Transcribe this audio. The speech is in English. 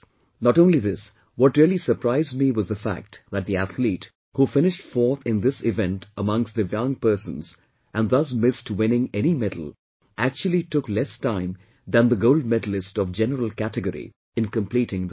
Not only this, what really surprised me was the fact that the athlete, who finished fourth in this event amongst DIVYANG persons and thus missed winning any medal, actually took less time than the gold medalist of general category in completing the race